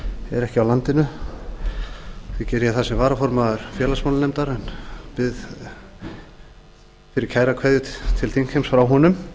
er ekki á landinu því geri ég það sem varaformaður félagsmálanefndar en ég ber kæra kveðju til þingheims frá honum